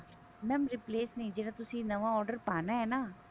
mam replace ਨੀ ਜਿਹੜਾ ਤੁਸੀਂ ਨਵਾ order ਪਾਉਣਾ ਹੈ ਨਾ